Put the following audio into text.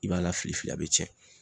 I b'a lafili fili a bɛ cɛn.